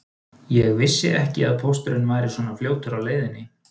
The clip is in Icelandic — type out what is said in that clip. Ég vissi ekki að pósturinn væri svona fljótur á leiðinni